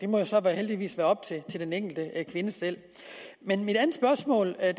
må jo så heldigvis være op til den enkelte kvinde selv men mit andet spørgsmål er